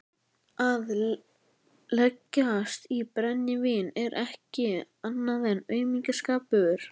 Að leggjast í brennivín er ekkert annað en aumingjaskapur.